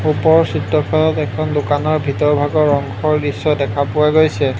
ওপৰৰ চিত্ৰখনত এখন দোকানৰ ভিতৰ ভাগৰ অংশৰ দৃশ্য দেখা পোৱা গৈছে।